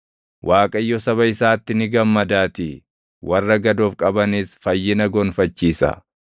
Waaqayyo saba isaatti ni gammadaatii; warra gad of qabanis fayyina gonfachiisa.